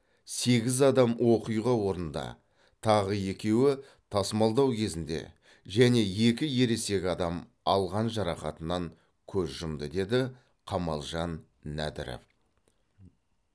сегіз адам оқиға орнында тағы екеуі тасымалдау кезінде және екі ересек адам алған жарақатынан көз жұмды деді қамалжан нәдіров